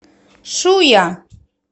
шуя